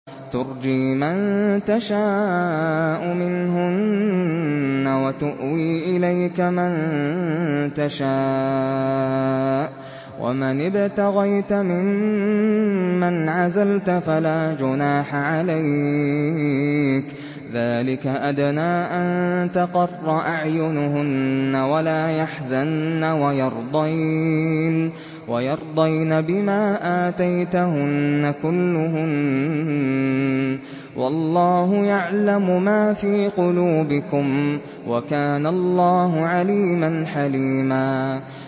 ۞ تُرْجِي مَن تَشَاءُ مِنْهُنَّ وَتُؤْوِي إِلَيْكَ مَن تَشَاءُ ۖ وَمَنِ ابْتَغَيْتَ مِمَّنْ عَزَلْتَ فَلَا جُنَاحَ عَلَيْكَ ۚ ذَٰلِكَ أَدْنَىٰ أَن تَقَرَّ أَعْيُنُهُنَّ وَلَا يَحْزَنَّ وَيَرْضَيْنَ بِمَا آتَيْتَهُنَّ كُلُّهُنَّ ۚ وَاللَّهُ يَعْلَمُ مَا فِي قُلُوبِكُمْ ۚ وَكَانَ اللَّهُ عَلِيمًا حَلِيمًا